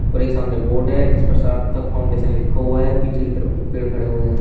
और एक सामने बोर्ड है जिस पर सार्थक फाउंडेशन लिखा हुआ है पीछे की तरफ कु पेड़ खड़े हुए हैं।